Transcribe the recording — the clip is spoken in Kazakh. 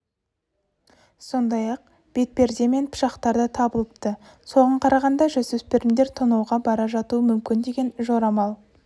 сондай-ақ бетперде мен пышақтар да табылыпты соған қарағанда жасөспірімдер тонауға бара жатуы мүмкін деген жорамал